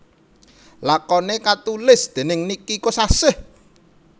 Lakoné katulis dèning Niki Kosasih